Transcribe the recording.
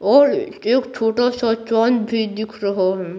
और एक छोटा सा चांद भी दिख रहा है।